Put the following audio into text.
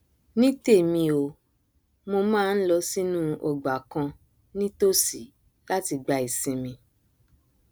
ní tèmi o mo máa nlọ sínú ọgbà kan nítòsí láti gba ìsinmi